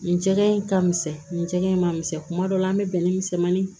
Nin jɛgɛ in ka misɛn nin cɛ in ma misɛn kuma dɔ la an bɛ bɛnɛ misɛnmanin